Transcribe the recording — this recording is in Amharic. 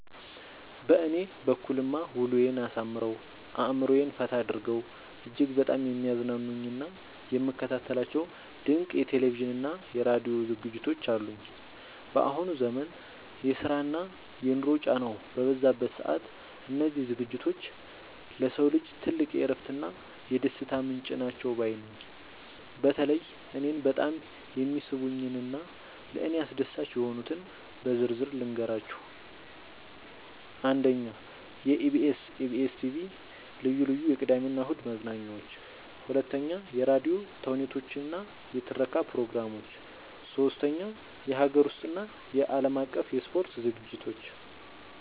በእኔ በኩልማ ውሎዬን አሳምረው፣ አእምሮዬን ፈታ አድርገው እጅግ በጣም የሚያዝናኑኝና የምከታተላቸው ድንቅ የቴሌቪዥንና የራዲዮ ዝግጅቶች አሉኝ! ባሁኑ ዘመን የስራና የኑሮ ጫናው በበዛበት ሰዓት፣ እነዚህ ዝግጅቶች ለሰው ልጅ ትልቅ የእረፍትና የደስታ ምንጭ ናቸው ባይ ነኝ። በተለይ እኔን በጣም የሚስቡኝንና ለእኔ አስደሳች የሆኑትን በዝርዝር ልንገራችሁ፦ 1. የኢቢኤስ (EBS TV) ልዩ ልዩ የቅዳሜና እሁድ መዝናኛዎች 2. የራዲዮ ተውኔቶችና የትረካ ፕሮግራሞች 3. የሀገር ውስጥና የዓለም አቀፍ የስፖርት ዝግጅቶች